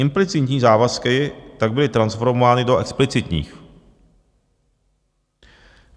Implicitní závazky tak byly transformovány do explicitních.